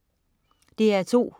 DR2: